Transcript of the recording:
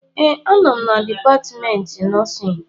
ee, anọ m na Dipatmentị Nọọsịn